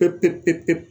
Pep